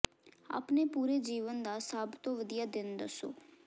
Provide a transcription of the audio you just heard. ਆਪਣੇ ਪੂਰੇ ਜੀਵਨ ਦਾ ਸਭ ਤੋਂ ਵਧੀਆ ਦਿਨ ਦੱਸੋ